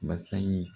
Basa ye